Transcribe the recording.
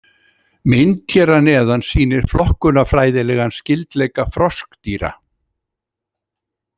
Mynd hér að neðan sýnir flokkunarfræðilegan skyldleika froskdýra.